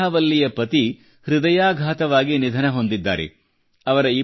ಅಮೂರ್ಥಾ ವಲ್ಲಿಯ ಪತಿಗೆ ಹೃದಯಾಘಾತವಾಗಿ ನಿಧನ ಹೊಂದಿದ್ದಾರೆ